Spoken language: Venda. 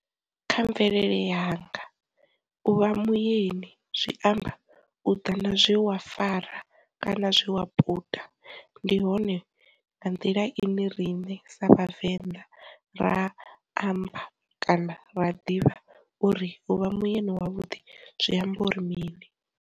Kha mvelele yanga, u vha muyeni zwi amba u ḓa na zwe wa fara kana zwe wa puta, ndi hone nga nḓila ine rine sa Vhavenḓa ra amba kana ra ḓivha uri uvha muyani wavhuḓi zwi amba uri mini.